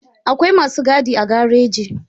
Akwai masu gadi a gareji